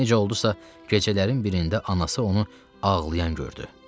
Necə oldusa, gecələrin birində anası onu ağlayan gördü.